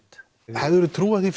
hefðirðu trúað því